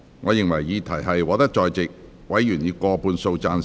我認為議題獲得在席委員以過半數贊成。